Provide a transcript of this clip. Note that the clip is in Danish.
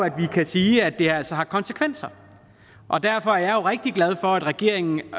at vi kan sige at det altså har konsekvenser og derfor er jeg rigtig glad for at regeringen